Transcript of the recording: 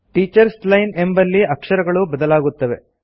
teachers line ಎಂಬಲ್ಲಿನ ಅಕ್ಷರಗಳು ಬದಲಾಗುತ್ತವೆ